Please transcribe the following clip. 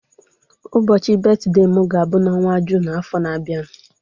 Ụbọchị betide m ga-abu n'ọnwa Jụn afọ na-abia.